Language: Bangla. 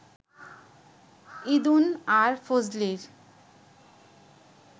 ঈদুন আর ফজলির